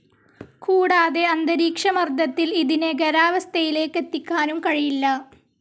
കൂടാതെ അന്തരീക്ഷമർദ്ദത്തിൽ ഇതിനെ ഖരാവസ്ഥയിലേക്കെത്തിക്കാനും കഴിയില്ല.